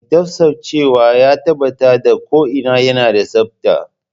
Mai tsaftacewa yana tabbatar da ko'ina yana da tsabta.